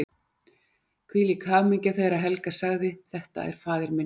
Hvílík hamingja þegar Helga sagði:-Þetta er faðir minn!